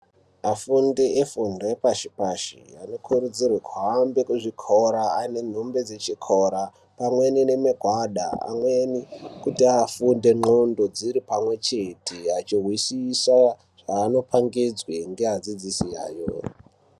Afundi efundo dzepashi pashi anokurudzirwa kut aende kuchikora ane nhumbi dzechikora pamwe nemagwada pamwe kuti afunde ndxondo dziri pamwe chete achihwisisa zvaanopangidzwe ngeadzidxisi awo.